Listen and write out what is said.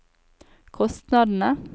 kostnadene